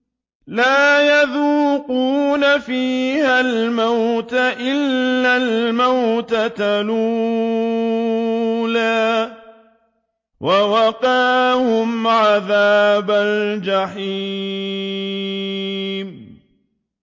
لَا يَذُوقُونَ فِيهَا الْمَوْتَ إِلَّا الْمَوْتَةَ الْأُولَىٰ ۖ وَوَقَاهُمْ عَذَابَ الْجَحِيمِ